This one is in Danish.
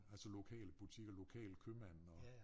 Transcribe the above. Altså lokale butikker lokal købmand og